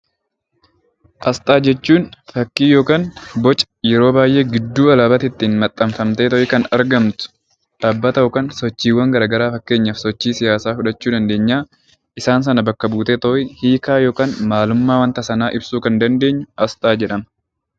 Asxaa jechuun fakkii yookiin boca yeroo baay'ee gidduu alaabaatti maxxanfamtee kan argamtu dhaabbata yookiin sochiiwwan garaagaraa fakkeenyaaf sochii siyaasaa fudhachuu dandeenya isaan sana bakka buutee kan hiikaa yookiin maalummaa wanta sanaa kan ibsudha.